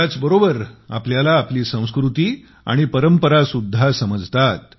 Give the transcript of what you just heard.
त्याचबरोबर आपल्याला आपली संस्कृती आणि परंपरासुद्धा समजतात